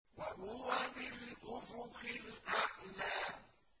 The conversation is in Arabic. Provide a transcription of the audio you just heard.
وَهُوَ بِالْأُفُقِ الْأَعْلَىٰ